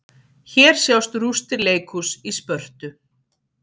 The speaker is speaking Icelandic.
Hér sjást rústir leikhúss í Spörtu.